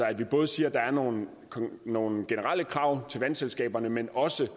at vi både siger at der er nogle nogle generelle krav til vandselskaberne men også